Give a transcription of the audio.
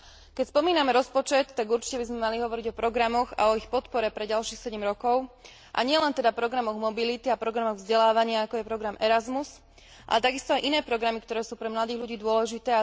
Keď spomíname rozpočet, tak určite by sme mali hovoriť o programoch a ich podpore pre ďalších sedem rokov, a nielen teda programoch mobility a programoch vzdelávania ako je program Erasmus a takisto aj iné programy, ktoré sú pre mladých ľudí dôležité.